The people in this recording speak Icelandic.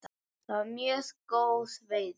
Það var mjög góð veiði.